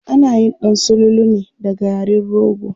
Anayin ɗan sululu ne da garin rogo.